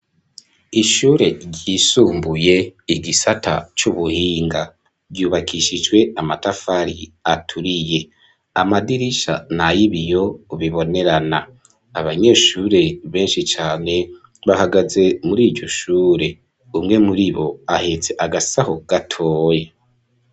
Ishure ryisumbuye igisata c'ubuhinga, ryubakishijwe amatafari aturiye amadirisha nayibiyo bibonerana, abanyeshure benshi cane bahagaze muriryo shure, umwe muribo ahetse agasaho gatoye.